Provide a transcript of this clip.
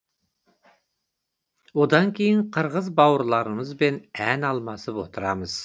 одан кейін қырғыз бауырларымызбен ән алмасып отырамыз